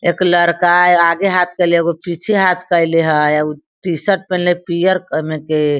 एक लड़का है आगे हाथ केएले एगो पीछे हाथ केएले हेय उ टी-शर्ट पहिनले पियर ए मे के।